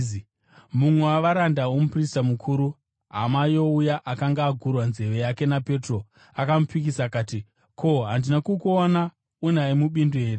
Mumwe wavaranda vomuprista mukuru, hama youya akanga agurwa nzeve yake naPetro, akamupikisa akati “Ko, handina kukuona unaye mubindu here?”